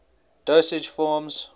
dosage forms